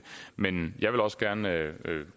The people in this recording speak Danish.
men jeg vil også gerne